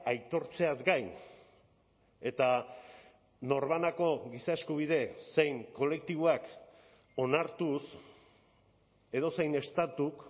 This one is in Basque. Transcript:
aitortzeaz gain eta norbanako giza eskubide zein kolektiboak onartuz edozein estatuk